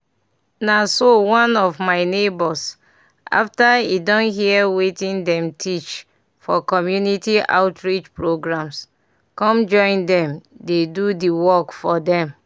na so one of my neighbors after e hear wetin dem teach for community outreach programs come join dem dey do the work for dem.